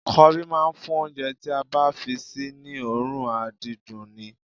Kọrí máa ń fún oúnjẹ tí a bá fi sí ní òórùn àdídùn ni